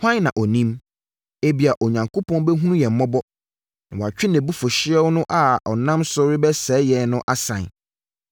Hwan na ɔnim? Ebia, Onyankopɔn bɛhunu yɛn mmɔbɔ, na watwe nʼabufuhyeɛ no a ɔnam so rebɛsɛe yɛn no asan.”